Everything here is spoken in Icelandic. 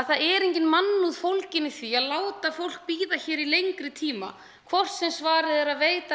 það er engin mannúð fólgin í því að láta fólk bíða hér í lengri tíma hvort sem svarið er að veita